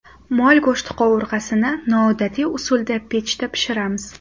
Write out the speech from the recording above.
Mol go‘shti qovurg‘asini noodatiy usulda pechda pishiramiz.